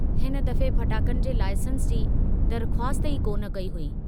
हिन दफ़े फटाकनि जे लाइसेंस जी दरख्वास्त ई कोन कई हुई।